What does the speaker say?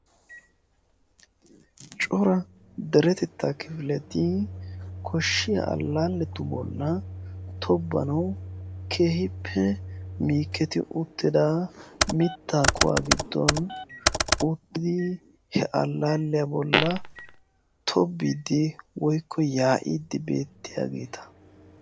cora deretettaa kifileti koshiya alaaletu bollan keehippe injeti uttida mitaa kuwaa gidon uttidi he alaaletu bolan tobiidi woykko yaa'iidi beetiyageta.